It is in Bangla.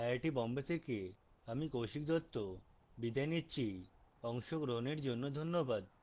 আই আই টী বোম্বে থেকে আমি কৌশিক দত্ত বিদায় নিচ্ছি অংশগ্রহনের জন্য ধন্যবাদ